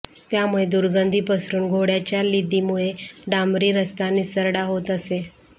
त्यामुळे दुर्गंधी पसरून घोड्याच्या लिदीमुळे डांबरी रस्ता निसरडा होत असे